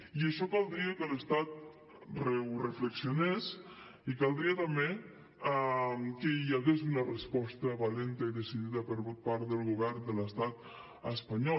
i això caldria que l’estat ho reflexionés i caldria també que hi hagués una resposta valenta i decidida per part del govern de l’estat espanyol